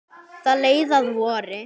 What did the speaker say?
Það leið að vori.